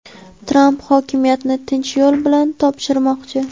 Tramp hokimiyatni tinch yo‘l bilan topshirmoqchi.